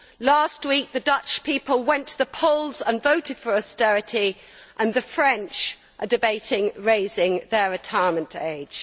Last week the Dutch people went to the polls and voted for austerity, and the French are debating raising their retirement age.